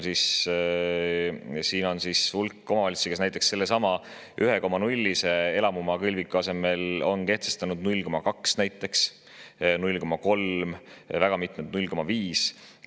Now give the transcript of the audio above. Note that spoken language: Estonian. Siin on hulk omavalitsusi, kes on elamumaa kõlviku 1,0%‑lise asemel kehtestanud näiteks 0,2%, 0,3%, väga mitmed 0,5%.